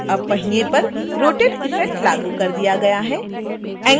अब पहिए पर rotate effect लागू कर दिया गया है